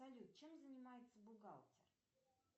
салют чем занимается бухгалтер